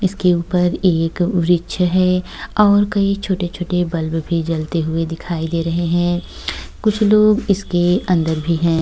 इसके ऊपर एक वृक्ष है और कहीं छोटे-छोटे बल्ब भी जलते हुए दिखाई दे रहे हैं। कुछ लोग इसके अंदर भी हैं।